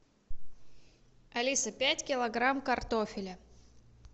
алиса пять килограмм картофеля